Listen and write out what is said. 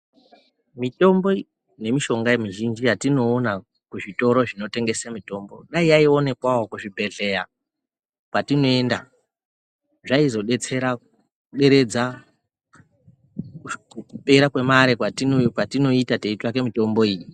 Mitombo nemishonga mizhinji yatinoona kuzvitoro zvinotengese mitombo, dei yaionekwawo kuzvibhedhlera kwatinoenda. Zvaizodetsera kuderedza kupera kwemari kwatinoita teitsvake mitombo iyi.